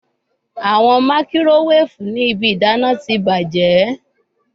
Awọn makirowefu ni ibi idana ti bajẹ